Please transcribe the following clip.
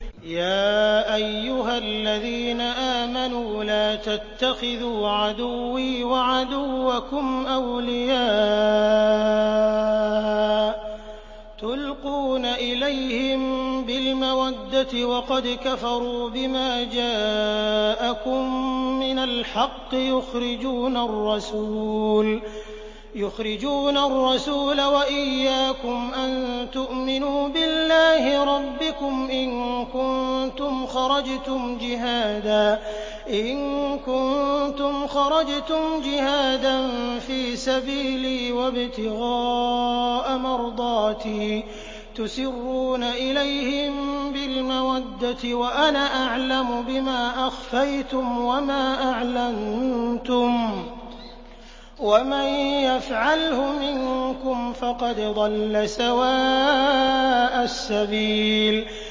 يَا أَيُّهَا الَّذِينَ آمَنُوا لَا تَتَّخِذُوا عَدُوِّي وَعَدُوَّكُمْ أَوْلِيَاءَ تُلْقُونَ إِلَيْهِم بِالْمَوَدَّةِ وَقَدْ كَفَرُوا بِمَا جَاءَكُم مِّنَ الْحَقِّ يُخْرِجُونَ الرَّسُولَ وَإِيَّاكُمْ ۙ أَن تُؤْمِنُوا بِاللَّهِ رَبِّكُمْ إِن كُنتُمْ خَرَجْتُمْ جِهَادًا فِي سَبِيلِي وَابْتِغَاءَ مَرْضَاتِي ۚ تُسِرُّونَ إِلَيْهِم بِالْمَوَدَّةِ وَأَنَا أَعْلَمُ بِمَا أَخْفَيْتُمْ وَمَا أَعْلَنتُمْ ۚ وَمَن يَفْعَلْهُ مِنكُمْ فَقَدْ ضَلَّ سَوَاءَ السَّبِيلِ